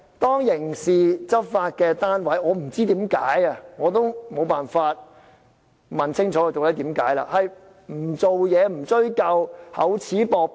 當刑事執法單位不知為何，而我沒辦法問清楚究竟為何不處理、不追究、厚此薄彼。